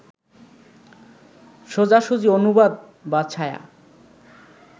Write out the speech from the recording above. সোজাসুজি অনুবাদ বা ছায়া